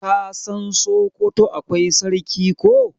ka San sokoto akwai sarki ko?